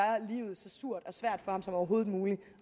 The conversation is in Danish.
livet så surt og svært for ham som overhovedet muligt